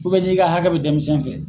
n'i ka hakɛ bɛ denmisɛnnin fɛ